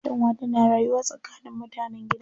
Kyanwa tana rayuwa tsakanin mutanen gida